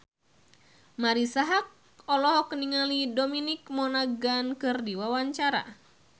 Marisa Haque olohok ningali Dominic Monaghan keur diwawancara